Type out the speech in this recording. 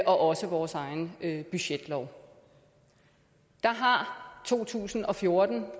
også i vores egen budgetlov der har to tusind og fjorten